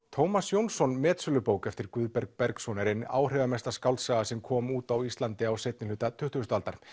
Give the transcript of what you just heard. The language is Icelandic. Tómas Jónsson metsölubók eftir Guðberg Bergsson er ein áhrifamesta skáldsaga sem kom út á Íslandi á seinni hluta tuttugustu aldar